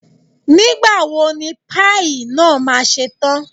Nígbà wo ni páì náà ma ṣe tán?